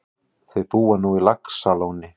Þau búa nú á Laxalóni.